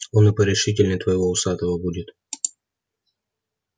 он и порешительней твоего усатого будет